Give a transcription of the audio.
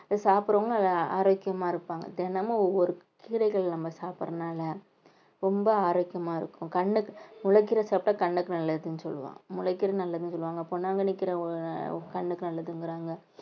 சாப்பிடறவங்களும் நல்லா ஆரோக்கியமா இருப்பாங்க தினமும் ஒவ்வொரு கீரைகள் நம்ம சாப்பிடறதுனால ரொம்ப ஆரோக்கியமா இருக்கும் கண்ணுக்கு முளக்கீரை சாப்பிட்டா கண்ணுக்கு நல்லதுன்னு சொல்லுவான் முளைக்கீரை நல்லதுன்னு சொல்லுவாங்க பொன்னாங்கண்ணி கீரை கண்ணுக்கு நல்லதுங்கிறாங்க.